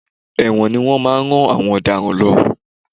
Ẹ̀wọ̀n ni wọ́n máa ń rán àwọn ọ̀daràn lọ.